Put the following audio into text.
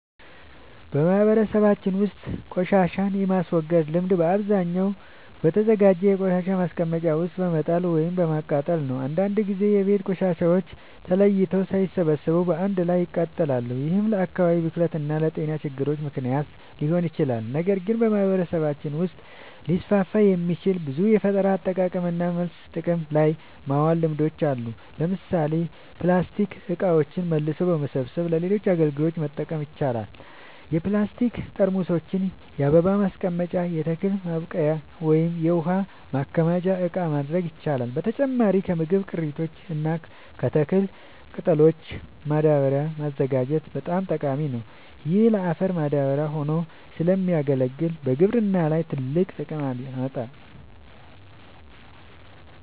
በማህበረሰባችን ውስጥ ቆሻሻን የማስወገድ ልምድ በአብዛኛው በተዘጋጀ የቆሻሻ ማስቀመጫ ውስጥ በመጣል ወይም በማቃጠል ነው። አንዳንድ ጊዜ የቤት ቆሻሻዎች ተለይተው ሳይሰበሰቡ በአንድ ላይ ይጣላሉ፤ ይህም ለአካባቢ ብክለት እና ለጤና ችግሮች ምክንያት ሊሆን ይችላል። ነገር ግን በማህበረሰባችን ውስጥ ሊስፋፉ የሚችሉ ብዙ የፈጠራ አጠቃቀምና መልሶ ጥቅም ላይ ማዋል ልምዶች አሉ። ለምሳሌ ፕላስቲክ እቃዎችን መልሶ በመሰብሰብ ለሌሎች አገልግሎቶች መጠቀም ይቻላል። የፕላስቲክ ጠርሙሶችን የአበባ ማስቀመጫ፣ የተክል ማብቀያ ወይም የውሃ ማከማቻ እቃ ማድረግ ይቻላል። በተጨማሪም ከምግብ ቅሪቶች እና ከተክል ቅጠሎች ማዳበሪያ ማዘጋጀት በጣም ጠቃሚ ነው። ይህ ለአፈር ማዳበሪያ ሆኖ ስለሚያገለግል በግብርና ላይ ትልቅ ጥቅም ያመጣል።